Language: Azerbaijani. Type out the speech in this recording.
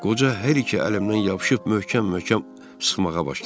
Qoca hər iki əlimdən yapışıb möhkəm-möhkəm sıxmağa başladı.